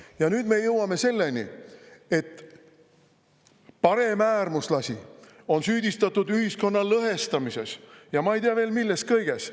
Ja nüüd me jõuame selleni, et paremäärmuslasi on süüdistatud ühiskonna lõhestamises ja ma ei tea milles kõiges.